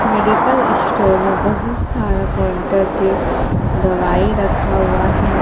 Medical store में बहुत सारा काउंटर पे दवाई रखा हुआ है।